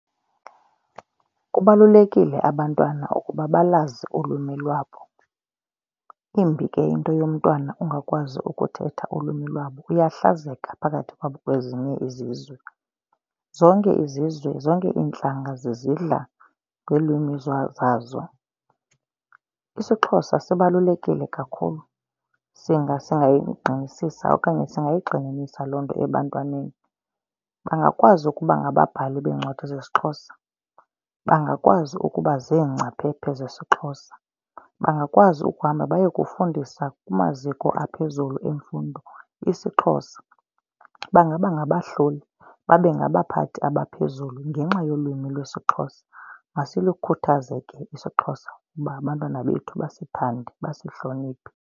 Kubalulekile abantwana ukuba balwazi ulwimi lwabo. Imbi ke into yomntwana ungakwazi ukuthetha ulwimi lwabo, uyahlazeka phakathi kwezinye izizwe. Zonke izizwe zonke iintlanga zizidla ngeelwimi zazo. IsiXhosa sibalulekile kakhulu. Singayisi okanye singayigxininisa loo nto ebantwaneni. Bangakwazi ukuba ngababhali beencwadi zesiXhosa. Bangakwazi ukuba ziingcaphephe zesiXhosa. Bangakwazi ukuhamba baye kufundisa kumaziko aphezulu emfundo isiXhosa. Bangaba ngabahloli babe ngabaphathi abaphezulu ngenxa yolwimi lwesiXhosa. Masilukhuthaze ke isiXhosa uba abantwana bethu basithande basihloniphe.